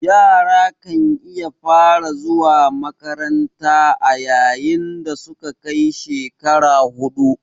Yara kan iya fara zuwa makanranta a yayin dasuka kai shekara hudu